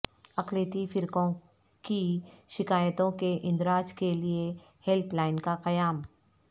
اقلیتی فرقوں کی شکایتوں کے اندراج کے لیے ہیلپ لائن کا قیام